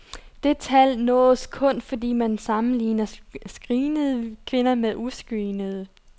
Det tal nås kun, fordi man sammenligner screenede kvinder med uscreenede.